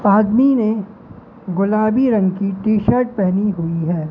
आदमी ने गुलाबी रंग की टी शर्ट पहनी हुई हैं।